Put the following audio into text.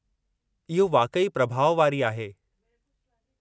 इहो वाक़ई प्रभाउ वारी आहे।